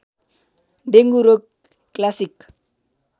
dengue रोग classic